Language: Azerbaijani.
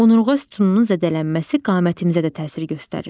Onurğa sütununun zədələnməsi qamətimizə də təsir göstərir.